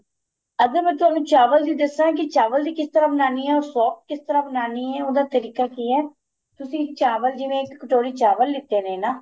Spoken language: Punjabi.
ਅਗਰ ਮੈਂ ਤੁਹਾਨੂੰ ਚਾਵਲ ਦੀ ਦਸਾ ਕੀ ਚਾਵਲ ਦੀ ਕਿਸ ਤਰ੍ਹਾਂ ਬਣਾਨੀ ਏ or soft ਕਿਸ ਤਰ੍ਹਾਂ ਬਣਾਨੀ ਏ ਉਹਦਾ ਤਰੀਕਾ ਕੀ ਏ ਤੁਸੀਂ ਚਾਵਲ ਜਿਵੇਂ ਇੱਕ ਕਟੋਰੀ ਚਾਵਲ ਲਿਤੇ ਨੇ ਨਾ